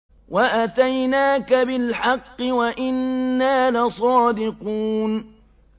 وَأَتَيْنَاكَ بِالْحَقِّ وَإِنَّا لَصَادِقُونَ